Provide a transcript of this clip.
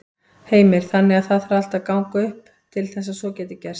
Heimir: Þannig að það þarf allt að ganga upp til þess að svo geti gerst?